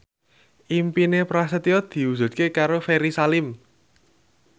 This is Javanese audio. impine Prasetyo diwujudke karo Ferry Salim